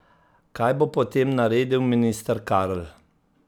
Kaj bo potem naredil minister Karl?